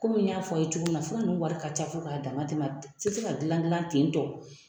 Kɔmi n y'a fɔ a' ye cogo min na fura ninnu wari ka ca fo k'a damatɛmɛ tɛ se ka dilan dilan ten tɔ